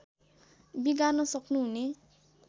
बिगार्न सक्नु हुने